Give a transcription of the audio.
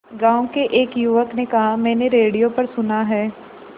गांव के एक युवक ने कहा मैंने रेडियो पर सुना है